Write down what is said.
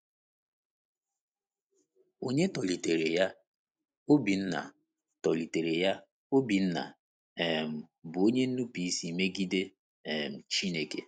Onye tọlitere ya, Obinna, tọlitere ya, Obinna, um bụ onye nnupụisi megide um Chineke.